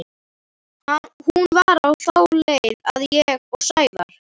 Hún var á þá leið að ég, Sævar og